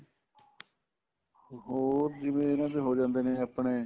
ਹੋਰ ਜਿਵੇਂ ਕਹਿੰਦੇ ਹੋ ਜਾਂਦਾ ਜਿਵੇਂ ਆਪਣੇ